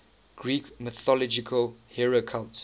greek mythological hero cult